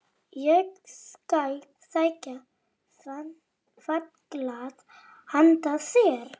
Ég skal sækja vatnsglas handa þér